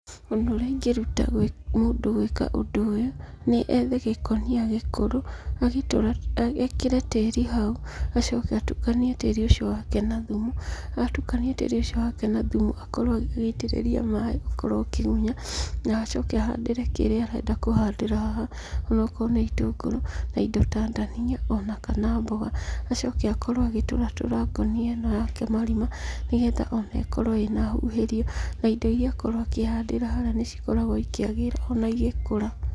Ũndũ ũrĩa ingĩruta mũndũ gwĩka ũndũ ũyũ nĩ ethe gĩkunia gĩkũrũ agĩkĩre tĩri hau, acoke atukanie tĩri ũcio wake na thumu atukania tĩri wake na thumu akorwo agĩitĩrĩria maaĩ ũkorwo ũkĩgunya na acoke ahandĩre kĩrĩa arenda kũhandĩra haha onakorwo nĩ itũngũrũ na indo ta ndania ona kana mboga. Acoke akorwo agĩtũra tũra ngonia ĩyo ake marima nĩgetha ĩkorwo ĩna hũhĩrio. Na indo iria ahandĩra haha nĩcikoragwo cikĩagĩra igĩkũra.